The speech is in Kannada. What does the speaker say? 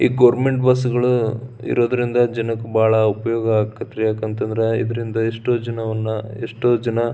ಈ ಗವರ್ನಮೆಂಟ್ ಬಸ್ಗಳು ಇರುವುದರಿಂದ ಬಹಳ ಉಪಯೋಗ ಆಗತೈತ್ರಿ ಇದರಿಂದ ಎಷ್ಟೋ ಜನವನ್ನ ಎಷ್ಟೋ ಜನ --